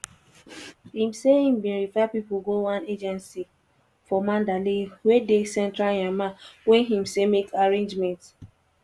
im say im bin refer pipo go one "agency" for mandalay wey dey central myanmar wey im say make arrangements.